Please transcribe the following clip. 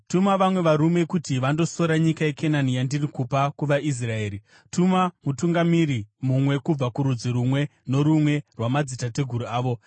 “Tuma vamwe varume kuti vandosora nyika yeKenani, yandiri kupa kuvaIsraeri. Tuma mutungamiri mumwe kubva kurudzi rumwe norumwe rwamadzitateguru avo.”